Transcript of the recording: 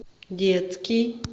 детский